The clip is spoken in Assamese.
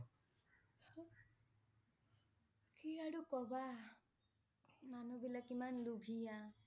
কি আৰু ক'বা, মানুহবিলাক কিমান লুভিয়া।